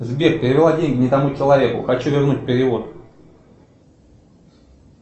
сбер перевела деньги не тому человеку хочу вернуть перевод